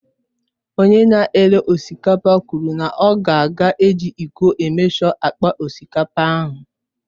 Onye na-ere osikapa kwụrụ na ọ ka ga eji ịko emeshọ akpa osikapa ahụ